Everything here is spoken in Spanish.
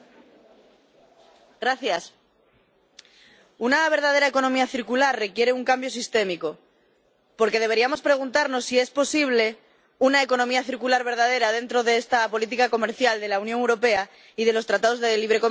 Señor presidente, una verdadera economía circular requiere un cambio sistémico, por lo que deberíamos preguntarnos si es posible una economía circular verdadera dentro de esta política comercial de la Unión Europea y de los tratados de libre comercio.